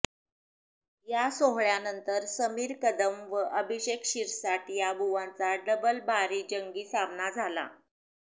या सोहळ्यानंतर समीर कदम व अभिषेक शिरसाट या बुवांचा डबलबारी जंगी सामना झाला